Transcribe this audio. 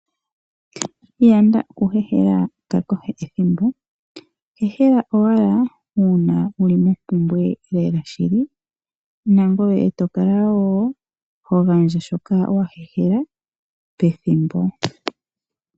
Yanda oku hehela kwakehe ethimbo, hehela owala uuna wuli mompumbwe lela shili nangoye eto kala wo hogandja shoka wahehela pethimbo.